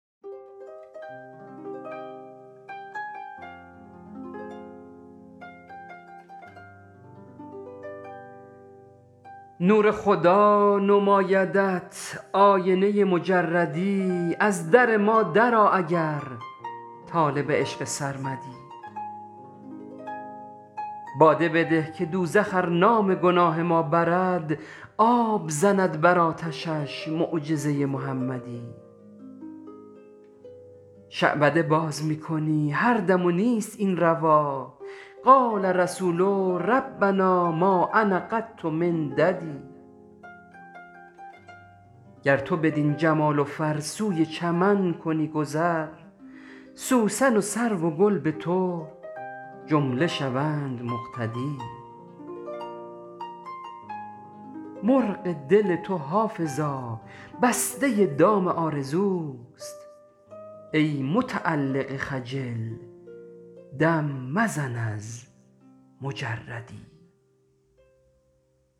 نور خدا نمایدت آینه مجردی از در ما در آ اگر طالب عشق سرمدی باده بده که دوزخ ار نام گناه ما برد آب زند بر آتشش معجزه محمدی شعبده باز می کنی هر دم و نیست این روا قال رسول ربنا ما انا قط من ددی گر تو بدین جمال و فر سوی چمن کنی گذر سوسن و سرو و گل به تو جمله شوند مقتدی مرغ دل تو حافظا بسته دام آرزوست ای متعلق خجل دم مزن از مجردی